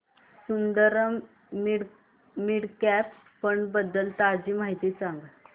Sundaram mid cap fund बद्दल ताजी माहिती सांग